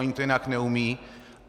Oni to jinak neumějí.